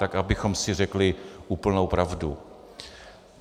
Tak abychom si řekli úplnou pravdu.